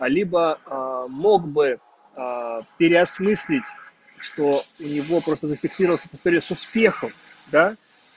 либо мог бы переосмыслить что у него просто зафиксировался этот стресс успехов да